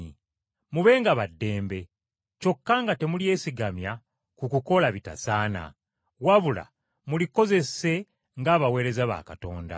Mubenga ba ddembe, kyokka nga temulyesigamya ku kukola bitasaana, wabula mulikozese ng’abaweereza ba Katonda.